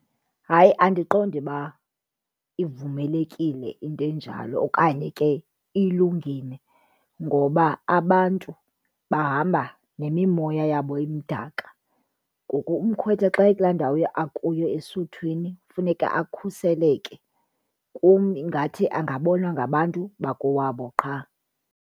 Hayi andiqondi uba ivumelekile into enjalo okanye ke ilungile ngoba abantu bahamba nemimoya yabo emdaka ngoku umkhwetha xa ekulaa ndawo akuyo esuthwini kufuneka akhuseleke. Kum ingathi angabonwa ngabantu bakowabo qha.